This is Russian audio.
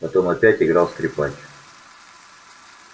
потом опять играл скрипач